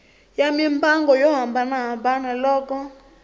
ya mimbangu yo hambanahambana loko